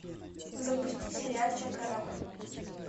запусти сериальчик корабль